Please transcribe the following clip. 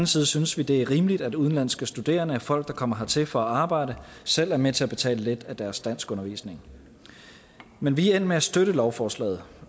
side synes vi det er rimeligt at udenlandske studerende og folk der kommer hertil for at arbejde selv er med til at betale lidt af deres danskundervisning men vi er endt med at støtte lovforslaget